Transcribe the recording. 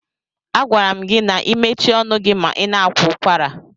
A gwara m gi na ị mechie ọnụ gị ma ị na-akwa ụkwara.